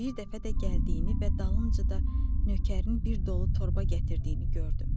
Bir dəfə də gəldiyini və dalınca da nökərin bir dolu torba gətirdiyini gördüm.